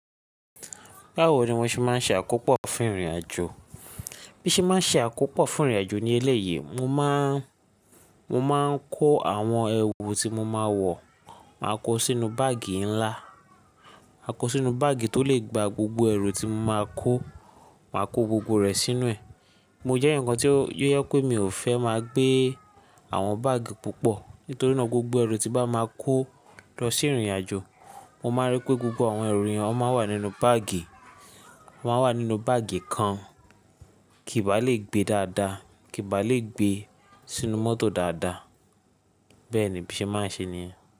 Báwo ni mo ṣe máa ń ṣe àkópò fún ìrìnàjò? Bí mo ṣe máa ń ṣe àkópò fún ìrìnàjò ní ẹlẹ́yìí, mo máa, mo máa ń kó àwọn ẹrù tí mo máa wọ, màá kó sínú báàgì ńlá, mà kó sínú báàgì tó le gba gbogbo ẹrù tí mo máa kó, màá kó gbogbo rẹ̀ sínú ẹ̀. Mo jẹ́ èèyàn kan tí ó yé pé mi ò fẹ́ máa gbé àwọn báàgì púpọ̀, nítorí ná gbogbo ẹrù tí bá máa kó lọ sí ìrìnàjò, mo máa rí pé gbogbo àwọn ẹrù yẹn ó máa wà nínú báàgì, wọ́n á wà nínú báàgì kan kí ìbà lè gbé dáadáa, kí ìbà lè gbé sínú mọ́tò dáadáa. Bẹ́ẹ̀ ni bí ṣe máa ń ṣe nìyẹn.